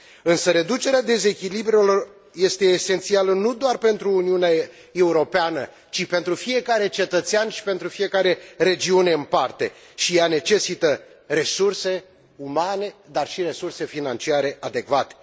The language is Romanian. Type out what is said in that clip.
Însă reducerea dezechilibrelor este esențială nu doar pentru Uniunea Europeană, ci pentru fiecare cetățean și pentru fiecare regiune în parte și ea necesită resurse umane, dar și resurse financiare adecvate.